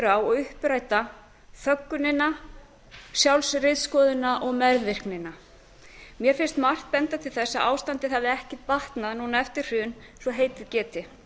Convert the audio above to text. á og uppræta þöggunina sjálfsritskoðunina og meðvirknina mér finnst margt benda til þess að ástandið hafi ekki batnað núna eftir hrun svo heitið geti